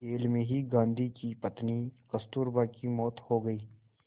jail में ही गांधी की पत्नी कस्तूरबा की मौत हो गई